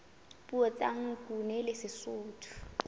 puo tsa nguni le sesotho